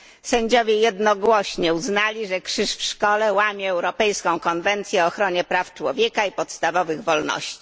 Sędziowie jednogłośnie uznali, że krzyż w szkole łamie Europejską Konwencję o Ochronie Praw Człowieka i Podstawowych Wolności.